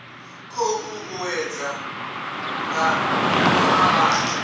khou uuwedzwa nga u avhanya